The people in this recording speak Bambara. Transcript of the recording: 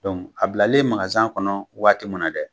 a bilalen kɔnɔ waati min na dɛ